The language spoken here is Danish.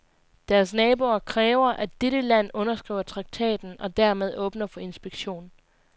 Deres naboer kræver, at dette land underskriver traktaten og dermed åbner for inspektion.